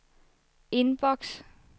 inbox